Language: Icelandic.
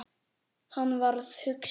Hann varð hugsi.